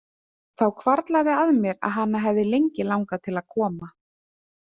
Þá hvarflaði að mér að hana hefði lengi langað til að koma.